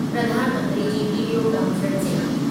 Pradhan Mantri ji video conferencing